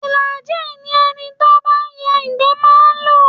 Flagin ni ẹni tí ó bá ń ya ìgbẹ́ máa ń lò